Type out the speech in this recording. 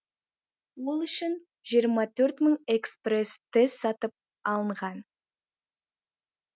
ол үшін жиырма төрт мың экспресс тест сатып алынған